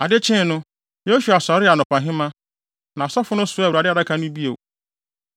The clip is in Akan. Ade kyee no Yosua sɔree anɔpahema, na asɔfo no soaa Awurade Adaka no bio.